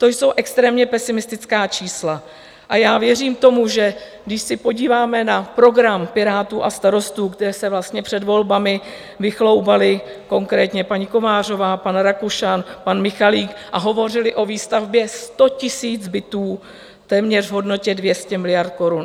To jsou extrémně pesimistická čísla a já věřím tomu, že když se podíváme na program Pirátů a Starostů, kteří se vlastně před volbami vychloubali, konkrétně paní Kovářová, pan Rakušan, pan Michalik, a hovořili o výstavbě 100 000 bytů téměř v hodnotě 200 miliard korun.